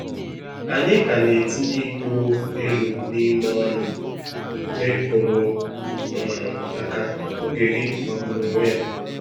Ànyị ka na etinye iko elu n’ime ọṅụ, mgbe ịkụrụ um aka—oge gị magburu onwe ya.